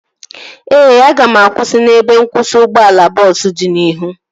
Ee, aga m akwụsị n'ebe nkwụsị ụgbọala bọọsu dị n'ihu